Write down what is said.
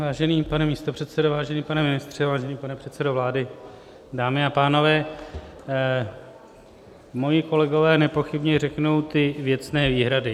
Vážený pane místopředsedo, vážený pane ministře, vážený pane předsedo vlády, dámy a pánové, moji kolegové nepochybně řeknou ty věcné výhrady.